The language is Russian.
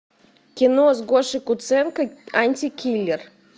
кино с гошей куценко антикиллер